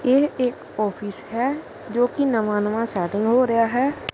ਇਹ ਇੱਕ ਔਫਿਸ ਹੈ ਜੋਕੀ ਨਵਾਂ ਨਵਾਂ ਸੈਟੇਲ ਹੋ ਰਿਹਾ ਹੈ।